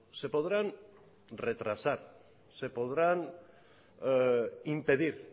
se podrán retrasar se podrán impedir